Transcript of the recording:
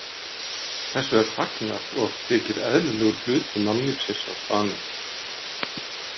Þessu er fagnað og þykir eðlilegur hluti mannlífsins á staðnum.